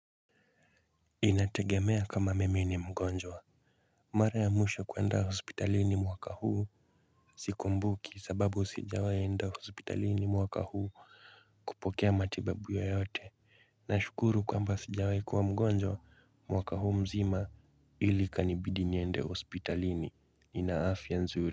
Inategemea kama mimi ni mgonjwa mara ya mwisho kuenda hospitalini mwaka huu sikumbuki sababu sijawahi enda hospitalini mwaka huu kupokea matibabu ya yoyote na shukuru kwamba sijawahi kuwa mgonjwa mwaka huu mzima ili kanibidi niende hospitalini ni afyai nzuri.